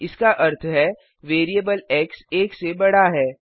इसका अर्थ है वेरिएबल एक्स एक से बढ़ा है